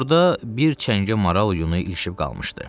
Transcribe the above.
Torda bir çəngə maral yunu ilişib qalmışdı.